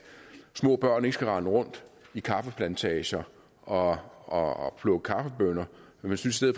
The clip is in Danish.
små børn ikke skal rende rundt i kaffeplantager og og plukke kaffebønner men synes at